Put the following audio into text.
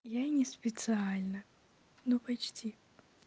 я не специально но почти